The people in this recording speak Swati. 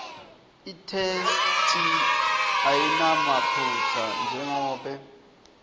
itheksthi ayinamaphutsa njengobe